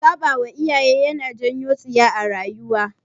Saɓawa iyaye yana janyo tsiya a rayuwa